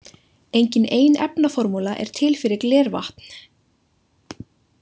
Engin ein efnaformúla er til fyrir glervatn.